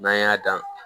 N'an y'a dan